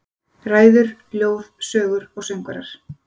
Ræður, ljóð, sögur og söngvar.